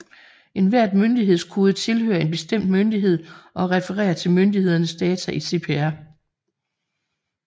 Enhver myndighedskode tilhører en bestemt myndighed og refererer til myndigheders data i CPR